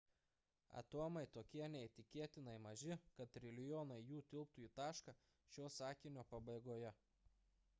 atomai tokie neįtikėtinai maži kad trilijonai jų tilptų į tašką šio sakinio pabaigoje